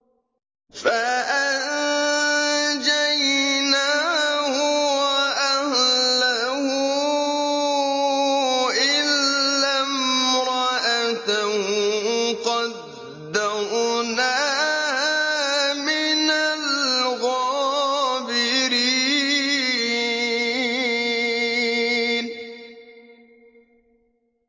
فَأَنجَيْنَاهُ وَأَهْلَهُ إِلَّا امْرَأَتَهُ قَدَّرْنَاهَا مِنَ الْغَابِرِينَ